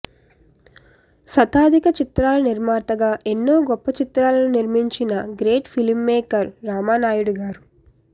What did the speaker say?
శతాధిక చిత్రాల నిర్మాతగా ఎన్నో గొప్ప చిత్రాలను నిర్మించిన గ్రేట్ ఫిలిమ్మేకర్ రామానాయడుగారు